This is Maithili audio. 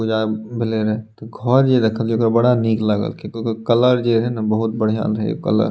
पूजा भएले रहे ते घर जे रखल के बड़ा निक लागल के ओकर कलर जे रहे ने बहुत बढ़िया रहे कलर ।